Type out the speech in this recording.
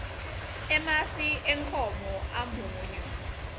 emasi enkhomo amunyu